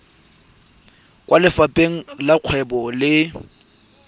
kwa lefapheng la dikgwebo le